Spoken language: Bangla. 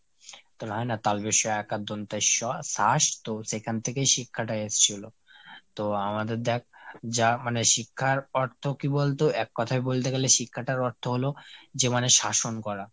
হয় না তালবশ্য এ আকার দন্তস শাস তো সেখান থেকেই শিক্ষাটা এসছিল। তো আমাদের দ্যাখ যা মানে শিক্ষার অর্থ কী বলতো এক কোথায় বলতে গেলে শিক্ষাটার অর্থ হলো যে মানে শাসন করা।